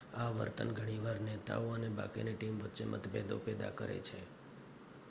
આ વર્તન ઘણી વાર નેતાઓ અને બાકીની ટીમ વચ્ચે મતભેદો પેદા કરે છે